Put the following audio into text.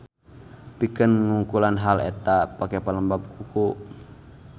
Pikeun nungkulan hal eta pake pelembab kuku.